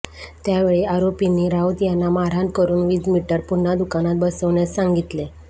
त्यावेळी आरोपींनी राऊत यांना मारहाण करुन वीज मीटर पुन्हा दुकानात बसवण्यास सांगितले